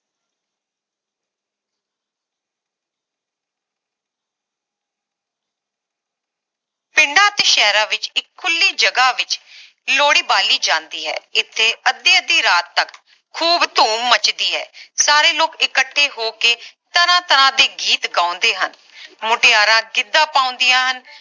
ਪਿੰਡਾਂ ਅਤੇ ਸ਼ਹਿਰਾਂ ਵਿਚ ਇਕ ਖੁੱਲੀ ਜਗਹ ਵਿਚ ਲੋਹੜੀ ਬਾਲੀ ਜਾਂਦੀ ਹੈ ਇਥੇ ਅੱਧੀ ਅੱਧੀ ਰਾਤ ਤਕ ਖੂਬ ਧੂਮ ਮੱਚਦੀ ਹੈ ਸਾਰੇ ਲੋਕ ਇਕੱਠੇ ਹੋ ਕੇ ਤਰ੍ਹਾਂ ਤਰ੍ਹਾਂ ਦੇ ਗੀਤ ਗਾਉਂਦੇ ਹਨ ਮੁਟਿਆਰਾਂ ਗਿੱਧਾ ਪਾਉਂਦੀਆਂ ਹਨ